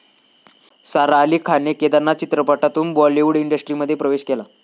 सारा अली खानने 'केदारनाथ' चित्रपटातून बॉलिवूड इंडस्ट्रीमध्ये प्रवेश केला.